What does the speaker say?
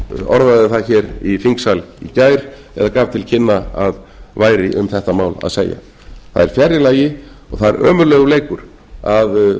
orðaði það hér í þingsal í gær eða gaf til kynna að væri um þetta mál að segja það er fjarri lagi og það er ömurlegur leikur að